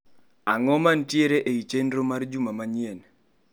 Ang'o mantiere ei chenro mara juma manyien.